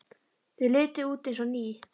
Þau litu út eins og ný.